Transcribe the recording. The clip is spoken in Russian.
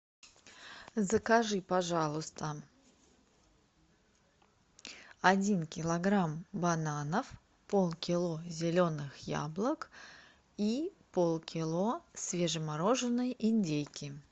закажи пожалуйста один килограмм бананов полкило зеленых яблок и полкило свежемороженной индейки